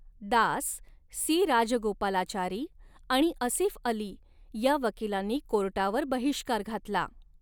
Das C Rajagopalachari आणि असिफअली या वकीलांनी कोर्टावर बहिष्कार घातला.